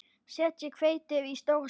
Setjið hveitið í stóra skál.